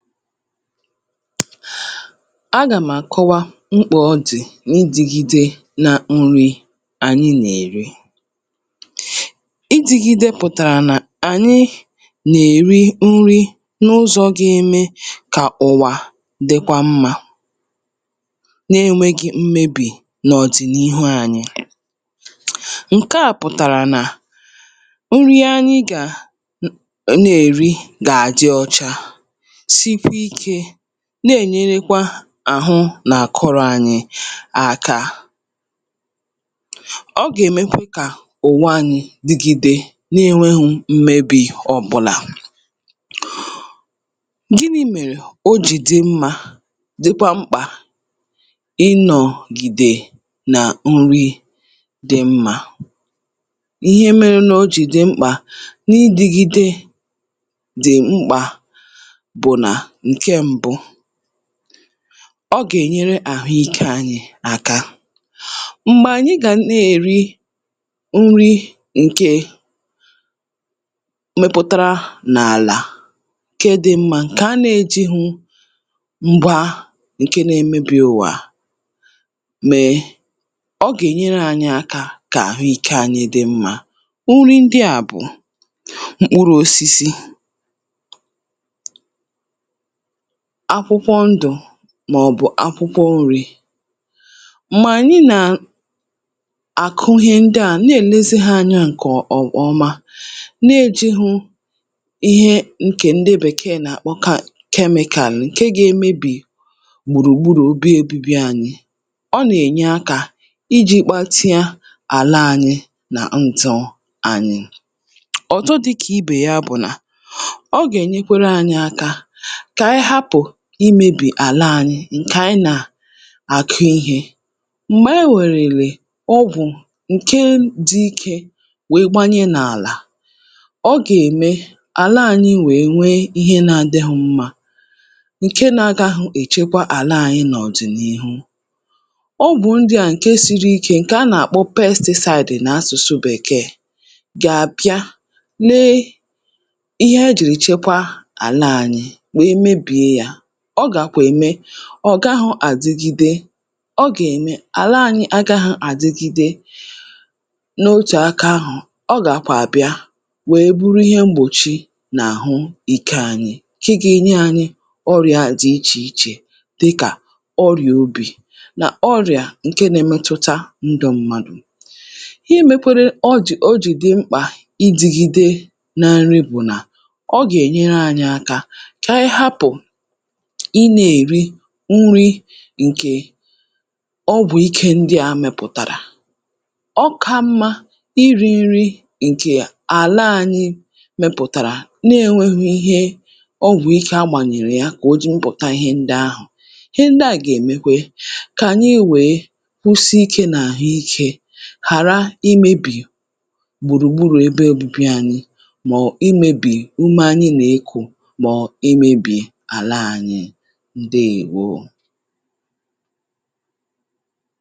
Agàm̀ àkọwa mkpò ọdì nà idìgidè nà nri ànyị nà-èri. Idìgidè pụ̀tàrà nà ànyị nà-èri nri n’ụzọ̇ gị ime kà ụ̀wà dịkwa mma, na-enwēghị mmebì n’ọ̀dị̀nihu anyị̇. Nke à pụ̀tàrà nà nri ihe anyị gà na-èri gà-àjị ọcha, na-ènyerekwa àhụ̄ nà um àkọrọ̇ anyị̇ àkà. Ọ gà-èmekwà kà ụ̀wà anyị̇ dịgide na-enweghù mmebì ọbụla. Gịnị mere ojii dị mma, dịkwa mkpà ịnọ̀gide nà nri dị mma?.. Ihe mere nà ojii dị̀ mkpà n’idìgidè bụ̀ nà ọ gà-ènyere àhụ́ike anyị̇ aka. M̀gbè ànyị gà na-èri nri nke mepụ̀tara n’àlà kè dị mma, nke a nà-ējighụ m̀gba nke na-emebi̇ ụ̀wà. um Mèè nke à, ọ gà-ènyere ȧnyị̇ aka kà àhụ́ike anyị dị̀ mma. Nri ndị à bụ̀ mkpụrụ̇ osisi, màọ̀bụ̀ akwụkwọ nri̇, mà ànyị nà-àkụ ihe ndị à na-èlezi hā anya nke ọma, na-ējighụ ihe ndị um bèkèè nà-àkpọ kemịkàlà nke gà-emebi̇ gbùrùgbùrù obi ebibi anyị̇. Ọ nà-ènye aka iji kpàtịa àlà anyị nà ndụ̇ anyị̇ ọ̀tụtụ, dịkà ibè ya bụ̀ nà imèbì àlà ȧnyị̇, n’oge ànyị nà-àkụ ihe. M̀gbè enwèrèlè ọgwụ̀ nke dị ike, gbanye n’àlà, ọ gà-èmè àlà ànyị nwèe nwee ihe na-adị̇hụ̇ mma, um Nke na-agàhụ̇ echekwa àlà ànyị̇ n’ọ̀dị̀nihu, ọgwụ̀ ndị a, nke siri ike, nke a nà-àkpọ pesticide n’asụ̀sụ̀ bèkèè, gà-àbịa n’ihi ichekwa àlà ànyị̇, ọ gàkwà ème ọ̀ gaghụ̇ àdìgidè um... Ọ gà-èmè àlà anyị agaghụ̇ àdìgidè. N’otù aka ahụ̀, ọ gàkwà àbịa, wèe bụrụ ihe mgbòchi n’àhụ́ike anyị̇, kì gà-enye anyị̇ ọrịa àzị iche iche, dịkà ọrịa obì nà ọrịa nke na-emetụta ndụ̇ mmadụ̀. um Imekwara ojii ojii dị mkpà n’idìgidè nà nri bụ̀ nà ọ gà-ènyere anyị̇ aka kà anyị hapụ̀ nri nke ọgwụ̀ ike ndị a mepụ̀tàrà. Ọ̀ka mma iri̇ nri nke àlà anyị mepụ̀tàrà, na-enwēghị ihe ọgwụ̀ ike agbànyèrè ya, kà o jiri mpụ̀tà ihe ndị ahụ̀. Ihe ndị à gà-èmekwà kà ànyị wee kwụsị ike n’àhụ́ike, ghàrà imèbì gbùrùgbùrù ebe ọbụbị anyị̇, mà ọ̀bụ̀ imèbì ume anyị̇ nà-ekù. um Ndewo.